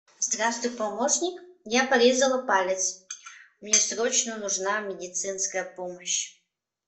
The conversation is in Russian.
здравствуй помощник я порезала палец мне срочно нужна медицинская помощь